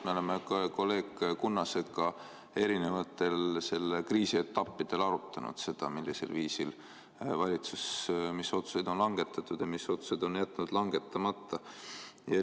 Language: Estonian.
Tõepoolest, me oleme kolleeg Kunnasega erinevatel selle kriisi etappidel arutanud, millisel viisil valitsus mis otsuseid on langetanud ja mis otsused on jätnud langetamata.